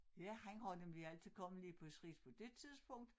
Ja han har nemlig altid kommet lige præcis på dét tidspuntk